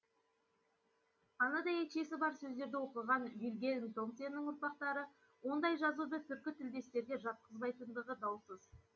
ана дәйекшесі бар сөздерді оқыған вильгельм томсеннің ұрпақтары ондай жазуды түркі тілдестерге жатқызбайтындығы даусыз